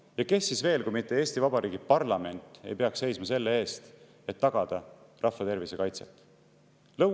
Ja kes siis veel kui mitte Eesti Vabariigi parlament ei peaks seisma selle eest, et tagada rahva tervise kaitse?